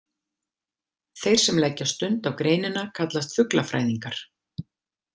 Þeir sem leggja stund á greinina kallast fuglafræðingar.